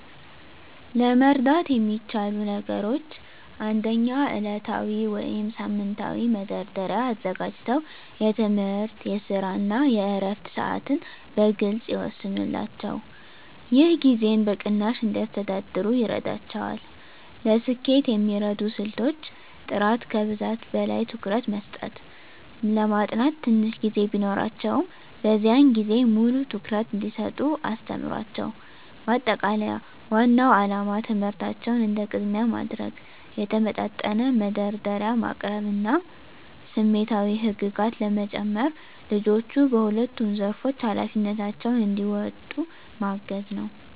ለመርዳት የሚቻሉ ነገሮች 1. ዕለታዊ ወይም ሳምንታዊ መደርደሪያ አዘጋጅተው የትምህርት፣ የስራ እና የዕረፍት ሰዓትን በግልፅ ይወስኑላቸው። ይህ ጊዜን በቅናሽ እንዲያስተዳድሩ ይረዳቸዋል። ለስኬት የሚረዱ ስልቶች · ጥራት ከብዛት በላይ ትኩረት መስጠት ለማጥናት ትንሽ ጊዜ ቢኖራቸውም፣ በዚያን ጊዜ ሙሉ ትኩረት እንዲሰጡ አስተምሯቸው። ማጠቃለያ ዋናው ዓላማ ትምህርታቸውን እንደ ቅድሚያ ማድረግ፣ የተመጣጠነ መደርደሪያ ማቅረብ እና ስሜታዊ ህግጋት በመጨመር ልጆቹ በሁለቱም ዘርፎች ኃላፊነታቸውን እንዲወጡ ማገዝ ነው።